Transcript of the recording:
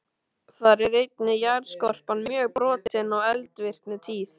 Þar er einnig jarðskorpan mjög brotin og eldvirkni tíð.